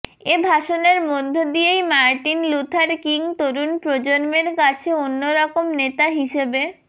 এ ভাষণের মধ্য দিয়েই মার্টিন লুথার কিং তরুণ প্রজন্মের কাছে অন্যরকম নেতা হিসেবে